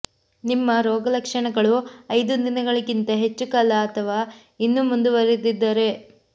ನಿಮ್ಮ ರೋಗಲಕ್ಷಣಗಳು ಐದು ದಿನಗಳಿಗಿಂತ ಹೆಚ್ಚು ಕಾಲ ಅಥವಾ ಇನ್ನೂ ಮುಂದುವರಿದರೆ